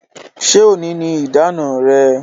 Ṣé òní ni ìdáná rẹ?